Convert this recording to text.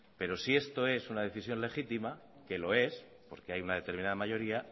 pero si esto es una decisión legítima que lo es porque hay una determinada mayoría